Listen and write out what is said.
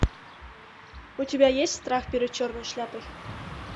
у тебя есть страх перед черной шляпой